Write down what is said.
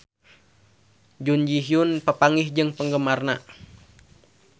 Jun Ji Hyun papanggih jeung penggemarna